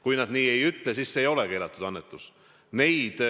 Kui nad nii ei ütle, siis see ei ole keelatud annetus.